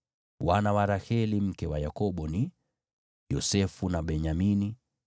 Wana wa Raheli mke wa Yakobo ni: Yosefu na Benyamini.